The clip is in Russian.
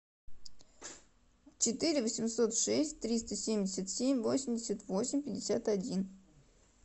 четыре восемьсот шесть триста семьдесят семь восемьдесят восемь пятьдесят один